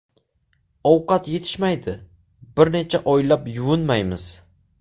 Ovqat yetishmaydi, bir necha oylab yuvinmaymiz.